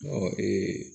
Ɔ